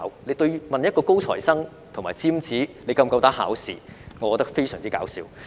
有人問一個高材生或尖子是否夠膽考試，我覺得非常"搞笑"。